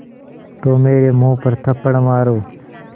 तो मेरे मुँह पर थप्पड़ मारो